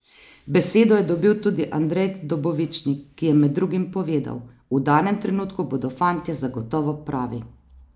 Besedo je dobil tudi Andrej Dobovičnik, ki je med drugim povedal: "V danem trenutku bodo fantje zagotovo pravi.